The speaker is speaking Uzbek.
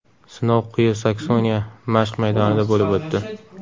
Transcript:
Sinov Quyi Saksoniya mashq maydonida bo‘lib o‘tdi.